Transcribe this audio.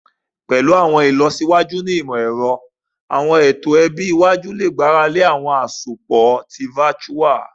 Pẹlu awọn ilọsiwaju ni imọ-ẹrọ, awọn eto ẹbi iwaju le gbarale awọn asopọ foju